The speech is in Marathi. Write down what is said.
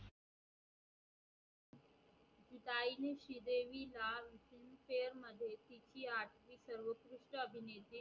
देवीलाल शेअर मध्ये तिची आर्थिक सर्वउत्कृष्ट अभिनेती